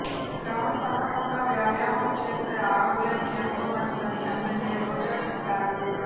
క్రమం తప్పకుండా వ్యాయామం చేస్తే ఆరోగ్యానికి ఎంతో మంచిదని ఎమ్మెల్యే రోజా చెప్పారు